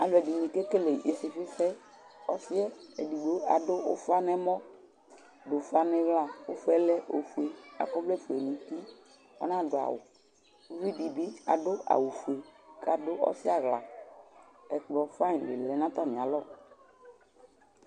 Aḷɔdini kékélé ɩsifɩ sɛ Ɔsiɛ édigbo ladʊ ʊfa nɛ ɛmɔ̌, dʊ ʊfa nɩ ɩɣlă Ʊƒɛ oƒʊé, akɔ ɔwlɛ fʊé nʊ ŋti, ɔna dʊ awʊ Ʊviɖibi adʊ awʊ fʊé, ka dʊ ɔsi aɣla Ɛkplɔ fɩyn di lɛnʊ atamialɔ